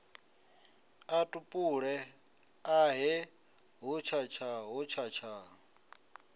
a tupule ahe hotshatsha hotshatsha